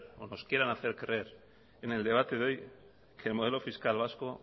nos quieran hacer creer en el debate de hoy que el modelo fiscal vasco